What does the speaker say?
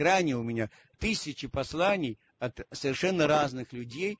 а у меня тысяча посланий от совершенно разных